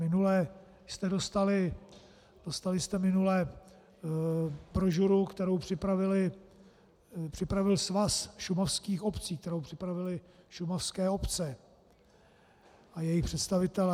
Minule jste dostali brožuru, kterou připravil Svaz šumavských obcí, kterou připravily šumavské obce a jejich představitelé.